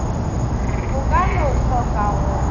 bo ka no tlhoka go